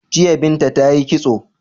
Jiya Binta ta yi kitso.